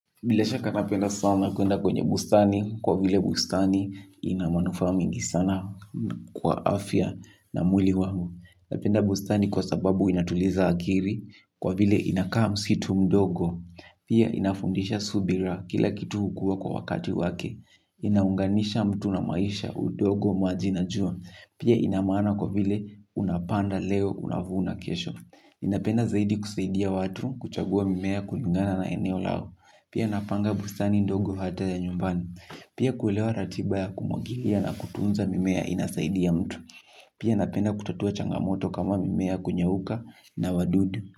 Bila shaka napenda sana kuenda kwenye bustani, kwa vile bustani ina manufaa mingi sana kwa afya na mwili wangu. Napenda bustani kwa sababu inatuliza akili, kwa vile inakaa msitu mdogo, pia inafundisha subira kila kitu hukua kwa wakati wake. Inaunganisha mtu na maisha, udogo, maji na jua, pia ina maana kwa vile unapanda leo, unavuna kesho. Ninapenda zaidi kusaidia watu kuchagua mimea kulingana na eneo lao. Pia napanga bustani ndogo hata ya nyumbani. Pia kuelewa ratiba ya kumwagilia na kutunza mimea inasaidia mtu. Pia napenda kutatua changamoto kama mimea kunyauka na wadudu.